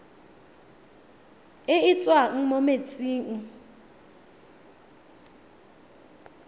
e e tswang mo metsing